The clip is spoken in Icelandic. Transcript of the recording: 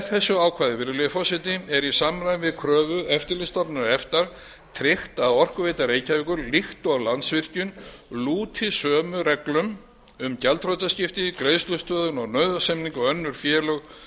þessu ákvæði virðulegi forseti er í samræmi við kröfu eftirlitsstofnunar efta tryggt að orkuveita reykjavíkur líkt og landsvirkjun lúti sömu reglum um gjaldþrotaskipti greiðslustöðvun og nauðasamninga og önnur félög